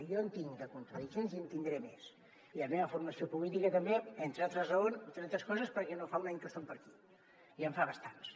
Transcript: i jo en tinc de contradiccions i en tindré més i la meva formació política també entre altres coses perquè no fa un any que som per aquí ja en fa bastants